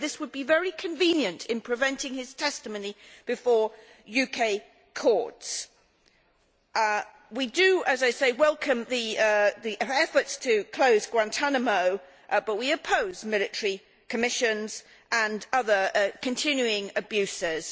This would be very convenient in preventing his testimony before UK courts. We do, as I say, welcome the efforts to close Guantánamo, but we oppose military commissions and other continuing abuses.